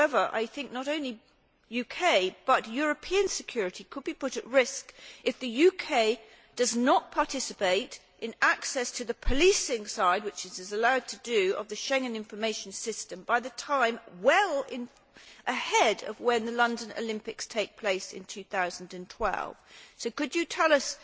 However, not only UK but also European security could be put at risk if the UK does not participate in access to the policing side which it is allowed to do of the Schengen Information System, by a time well ahead of the London Olympics taking place in 2012. Could you tell